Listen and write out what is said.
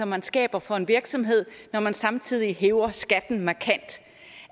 man skaber for en virksomhed når man samtidig hæver skatten markant